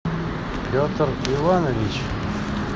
петр иванович